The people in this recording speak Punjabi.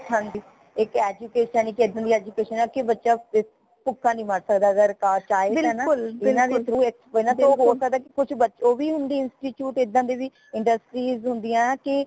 ਹਾਂਜੀ ਇੱਕ education ਹੀ ਇੱਕ ਏਦਾਂ ਦੀ education ਕਿ ਬੱਚਾ ਭੁਕਾ ਨੀ ਮਰ ਸਕਦਾ ਅਗਰ ਕਾਰ ਚਾਹੇ ਤਾ ਨਾ ਇਨਾ ਦੇ through ਏਨਾ ਤੋਹ ਹੋਸਕਦਾ ਕੁਛ ਬੱਚੇ ਉਹ ਵੀ ਹੁੰਦੀ institute ਇਦਾ ਦੇ ਵੀ industries ਹੁੰਦੀਆਂ ਕੀ